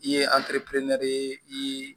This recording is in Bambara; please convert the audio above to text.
I ye i ye